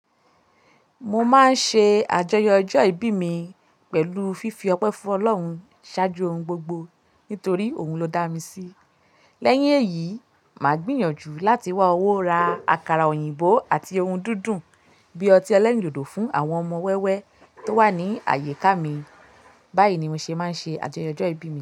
Mo máa ń ṣe àjọyọ̀ ọjọ́ ìbí mi pẹ̀lú fífi ọpẹ́ fún Ọlọ́run ṣáájú ohun gbogbo nítorí òun ló dá mi sí. Lẹ́yìn èyí, màá gbìyànjú láti wá owó ra àkàrà òyìnbó àti ohun dúndún bí i ọtí ẹlẹ́rìndòdò fún àwọn ọmọ wẹ́wẹ́ tó wà ní àyíká mi. Báyìí ni mo ṣe máa ń ṣe àjọyọ̀ ọjọ́ ìbí mi.